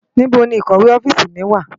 NIbó ni ikòwé òfisi mi wá?